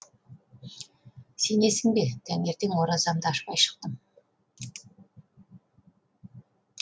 сенесің бе таңертең оразамды ашпай шықтым